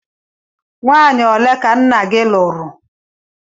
Nwanyi ole ka nna gi lụrụ?